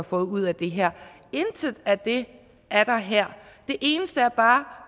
fået ud af det her intet af det er der her det eneste er bare